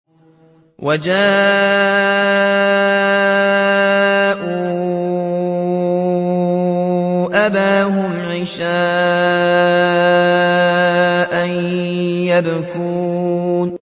وَجَاءُوا أَبَاهُمْ عِشَاءً يَبْكُونَ